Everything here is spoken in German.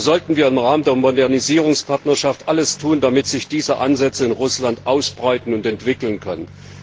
Hier sollten wir im Rahmen der Modernisierungspartnerschaft alles tun, damit sich diese Ansätze in Russland ausbreiten und entwickeln können.